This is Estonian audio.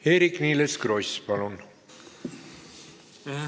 Eerik-Niiles Kross, palun!